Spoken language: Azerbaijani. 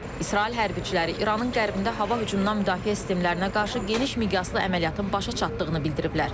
İsrail hərbçiləri İranın qərbində hava hücumundan müdafiə sistemlərinə qarşı geniş miqyaslı əməliyyatın başa çatdığını bildiriblər.